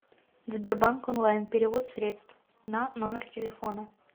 сбербанк онлайн перевод средств на номер телефона